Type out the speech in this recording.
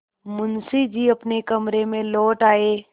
मुंशी जी अपने कमरे में लौट आये